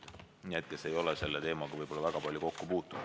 See info on neile, kes ei ole selle teemaga väga palju kokku puutunud.